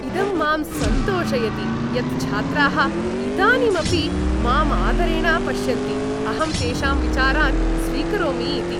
इदं मां सन्तोषयति यत् छात्राः इदानीमपि माम् आदरेण पश्यन्ति, अहं तेषां विचारान् स्वीकरोमि इति।